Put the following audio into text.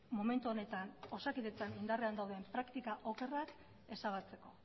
momentu honetan osakidetza indarrean dauden praktika okerrak ezabatzeko